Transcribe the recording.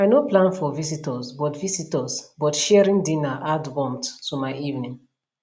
i no plan for visitors but visitors but sharing dinner add warmth to my evening